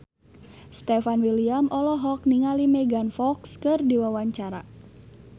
Stefan William olohok ningali Megan Fox keur diwawancara